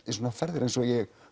í svona ferðir eins og ég